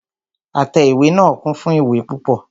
Àtẹ ìwé náà kún fún ìwé púpọ.